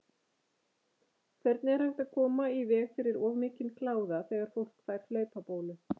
Hvernig er hægt að koma í veg fyrir of mikinn kláða þegar fólk fær hlaupabólu?